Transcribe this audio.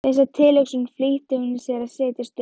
Við þessa tilhugsun flýtti hún sér að setjast upp.